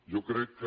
jo crec que